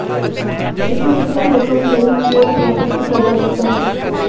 ਇਸ ਨੂੰ ਕਿਸੇ ਵੀ ਰਕਮ ਲਈ ਮੁੜ ਪ੍ਰਾਪਤ ਕੀਤਾ ਜਾ ਸਕਦਾ ਹੈ